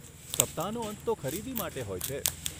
સપ્તાહનો અંત તો ખરીદી માટે હોય છે.